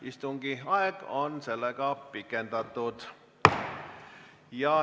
Istungi aega on pikendatud.